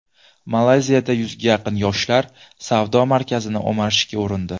Malayziyada yuzga yaqin yoshlar savdo markazini o‘marishga urindi.